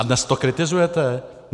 A dnes to kritizujete?